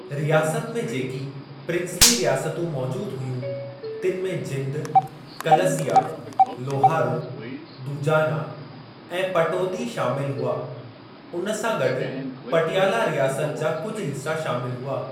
रियासत में जेकी प्रिंस्ली रियासतूं मौजूदु हुयूं, तिनि में जिंद, कलसिया, लोहारो, दूजाना ऐं पटौदी शामिलु हुआ, उन सां गॾु पटियाला रियासत जा कुझ हिस्सा शामिलु हुआ।